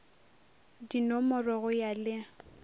di nomorwe go ya le